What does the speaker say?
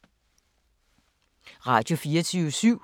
Radio24syv